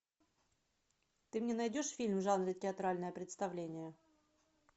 ты мне найдешь фильм в жанре театральное представление